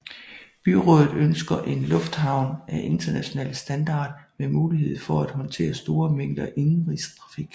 Byrådet ønsker en lufthavn af international standard med mulighed for at håndtere store mængder indenrigstrafik